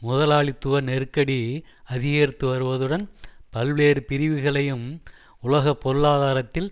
முதலாளித்துவ நெருக்கடி அதிகரித்து வருவதுடன் பல்வேறு பிரிவுகளையும் உலக பொருளாதாரத்தில்